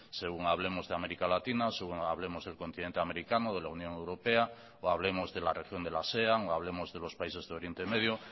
según hablemos de américa latina según hablemos del continente americano de la unión europea o hablemos de la región de la sean o hablemos de los países de oriente medio